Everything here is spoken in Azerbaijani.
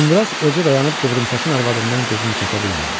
Uzundraz elə dayanıb qıvrımsaçın arvadından gözünü çəkə bilmirdi.